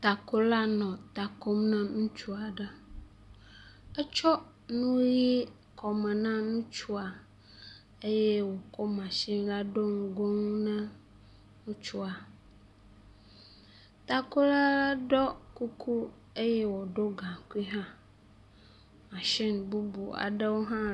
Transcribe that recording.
Takola nɔ ta kom na ŋutsu aɖe, etsɔ nu ʋi kɔme na ŋutsua eye wòkɔ “machine” la ɖo ŋgo ŋu na ŋutsua. Takola ɖɔ kuku eye wòɖɔ gaŋkui hã. “Machine” bubu aɖewo hã …..